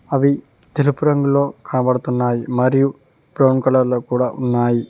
అవి తెలుపు రంగులో కనపడుతున్నాయి మరియు బ్రౌన్ కలర్ లో కూడా ఉన్నాయి.